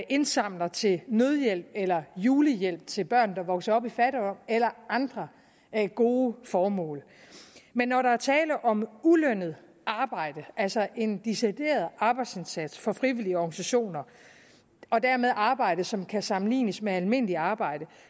indsamler til nødhjælp eller julehjælp til børn der vokser op i fattigdom eller andre gode formål men når der er tale om ulønnet arbejde altså om en decideret arbejdsindsats for frivillige organisationer og dermed arbejde som kan sammenlignes med almindeligt arbejde